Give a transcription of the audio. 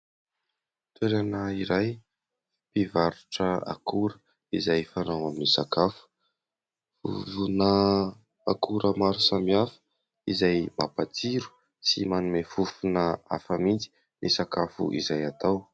Toerana iray mivarotra akora, izay fanao amin'ny sakafo, vovona akora maro samihafa, izay mampatsiro sy manome fofona hafa mihitsy ny sakafo izay atao.